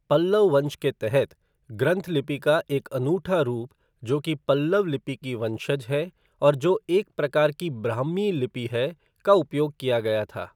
पल्लव वंश के तहत, ग्रंथ लिपि का एक अनूठा रूप, जो कि पल्लव लिपि की वंशज है और जो एक प्रकार की ब्राह्मी लिपि है, का उपयोग किया गया था।